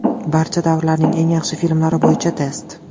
Barcha davrlarning eng yaxshi filmlari bo‘yicha test.